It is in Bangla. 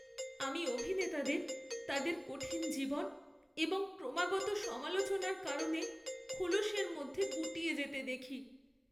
আমি অভিনেতাদের তাদের কঠিন জীবন এবং ক্রমাগত সমালোচনার কারণে খোলসের মধ্যে গুটিয়ে যেতে দেখি।